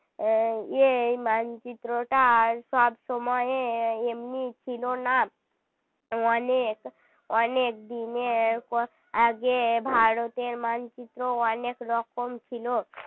উম এই মানচিত্রটার সব সময় এমনি ছিল না অনেক অনেক দিন এর আগে ভারতের মানচিত্র অনেক রকম ছিল